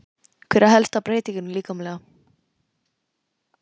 Hver er helsta breytingin líkamlega?